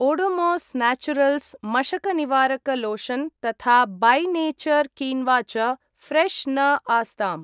Odomos naturals मशकनिवारक lotion तथा by nature quinoa च ऴ्रेश् न आस्ताम्।